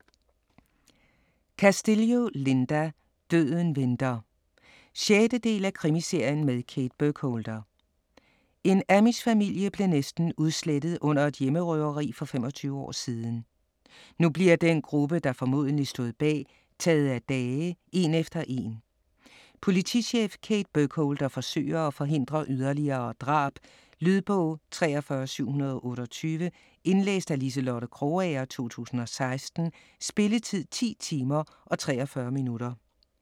Castillo, Linda: Døden venter 6. del af krimiserien med Kate Burkholder. En amishfamilie blev næsten udslettet under et hjemmerøveri for 25 år siden. Nu bliver den gruppe, der formodentlig stod bag, taget af dage en efter en. Politichef Kate Burkholder forsøger at forhindre yderligere drab. Lydbog 43728 Indlæst af Liselotte Krogager, 2016. Spilletid: 10 timer, 43 minutter.